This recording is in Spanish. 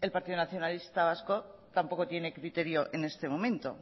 el partido nacionalista vasco tampoco tiene criterio en este momento